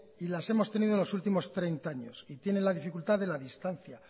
y las hemos tenido los últimos treinta años y tienen la dificultad de la distancia